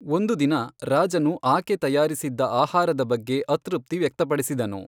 ಒಂದು ದಿನ, ರಾಜನು ಆಕೆ ತಯಾರಿಸಿದ್ದ ಆಹಾರದ ಬಗ್ಗೆ ಅತೃಪ್ತಿ ವ್ಯಕ್ತಪಡಿಸಿದನು.